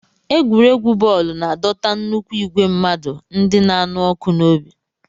Egwuregwu bọọlụ na-adọta nnukwu igwe mmadụ ndị na-anụ ọkụ n'obi.